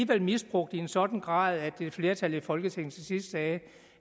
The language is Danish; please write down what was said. blev misbrugt i en sådan grad at et flertal i folketinget til sidst sagde